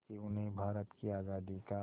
कि उन्हें भारत की आज़ादी का